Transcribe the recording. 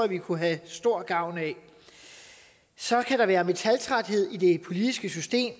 vi kunne have stor gavn af så kan der være metaltræthed i det politiske system